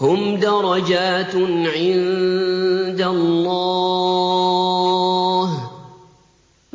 هُمْ دَرَجَاتٌ عِندَ اللَّهِ ۗ